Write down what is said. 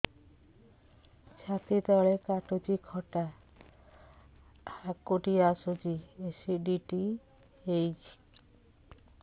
ଛାତି ତଳେ କାଟୁଚି ଖଟା ହାକୁଟି ଆସୁଚି ଏସିଡିଟି ହେଇଚି